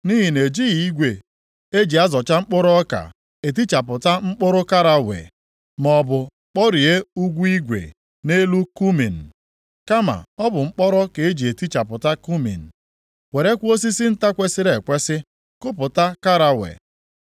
Nʼihi na ejighị igwe eji azọcha mkpụrụ ọka etichapụta mkpụrụ karawe, maọbụ kpọree ụkwụ igwe + 28:27 Lit. wịịlu nʼelu kumin, kama ọ bụ mkpọrọ ka e ji etichapụta kumin, werekwa osisi nta kwesiri ekwesi kupụta karawe.